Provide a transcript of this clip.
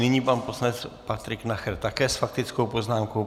Nyní pan poslanec Patrik Nacher také s faktickou poznámkou.